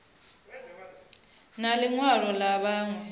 na ḽi ṅwalo ḽa vhuṋe